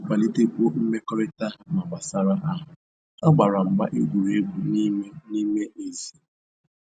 Iji kwalitekwuo mmekọrịta ha ma gbasara ahụ, ha gbara mgba egwuregwu n'ime n'ime ezi